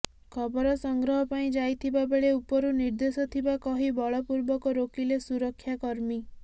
ଖବର ସଂଗ୍ରହ ପାଇଁ ଯାଇଥିବା ବେଳେ ଉପରୁ ନିର୍ଦ୍ଦେଶ ଥିବା କହି ବଳପୂର୍ବକ ରୋକିଲେ ସୁରକ୍ଷା କର୍ମୀ